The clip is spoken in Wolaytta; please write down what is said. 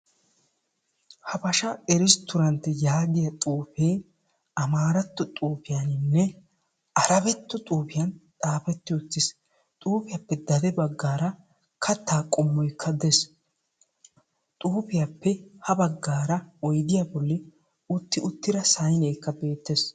Habasha resttoorantte yaagiya xuufee amaaratto xuufiyaninne arebetto xuufiyan xaafetti uttiis. Xuufiyappe xade baggaara kattaa qommoykka dees. Xuufiyappe ha baggaara oydiya bolli utti uttira sayneekka beettees.